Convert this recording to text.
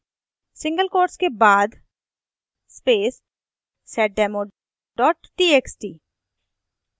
single quotes के बाद seddemo txt